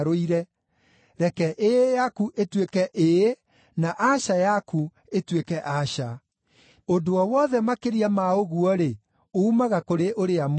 Reke ‘Ĩĩ’ yaku ĩtuĩke ‘Ĩĩ’, na ‘Aca’ yaku ĩtuĩke ‘Aca’; ũndũ o wothe makĩria ma ũguo-rĩ, uumaga kũrĩ ũrĩa mũũru.